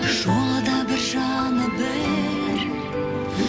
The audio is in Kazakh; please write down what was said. жолы да бір жаны бір